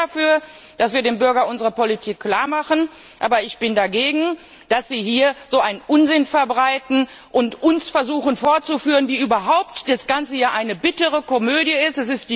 Ich bin sehr dafür, dass wir dem Bürger unsere Politik klarmachen, aber ich bin dagegen, dass Sie hier so einen Unsinn verbreiten und versuchen, uns vorzuführen, wie überhaupt das Ganze hier eine bittere Komödie ist.